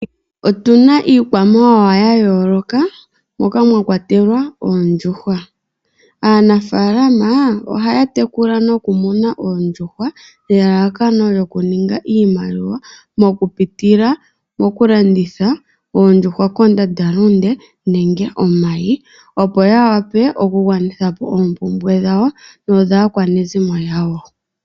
Otuna iikwamawawa ya yooloka moka mwakwatelwa oondjuhwa. Aanafaalama ohaya tekula noku muna oondjuhwa nelalakano lyoku ninga iimaliwa moku pitila moku landitha oondjuhwa kondanda lunde nenge omayi opo ya wape oku gwanithapo oompumbwe dhawo nodhaaakwanezimo yawo